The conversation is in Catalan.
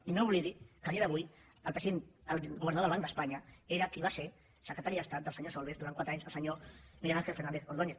i no oblidi que a dia d’avui el governador del banc d’espanya era qui va ser secretari d’estat del senyor solbes durant quatre anys el senyor miguel ángel fernández ordóñez